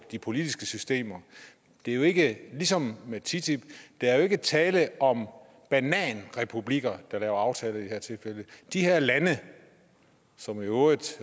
de politiske systemer det er jo ikke ligesom med ttip der er jo ikke tale om bananrepublikker der laver aftaler i det her tilfælde de her lande som i øvrigt